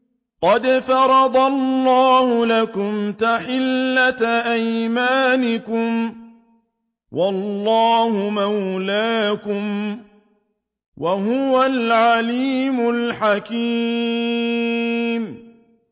قَدْ فَرَضَ اللَّهُ لَكُمْ تَحِلَّةَ أَيْمَانِكُمْ ۚ وَاللَّهُ مَوْلَاكُمْ ۖ وَهُوَ الْعَلِيمُ الْحَكِيمُ